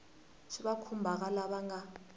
swi va khumbhaka lava nga